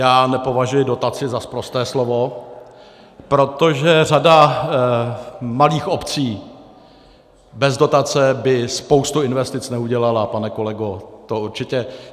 Já nepovažuji dotaci za sprosté slovo, protože řada malých obcí bez dotace by spoustu investic neudělala, pane kolego, to určitě.